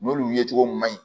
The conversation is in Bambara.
N'olu ye cogo mun man ɲi